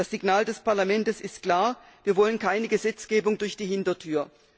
Das Signal des Parlaments ist klar Wir wollen keine Gesetzgebung durch die Hintertür.